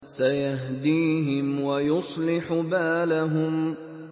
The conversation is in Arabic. سَيَهْدِيهِمْ وَيُصْلِحُ بَالَهُمْ